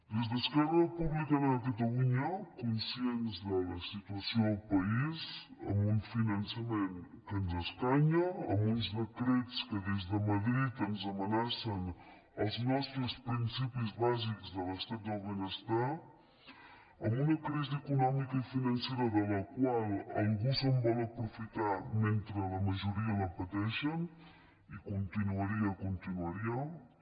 des d’esquerra republicana de catalunya conscients de la situació del país amb un finançament que ens escanya amb uns decrets que des de madrid ens amenacen els nostres principis bàsics de l’estat del benestar amb una crisi econòmica i financera de la qual algú se’n vol aprofitar mentre la majoria la pateixen i continuaria i continuaria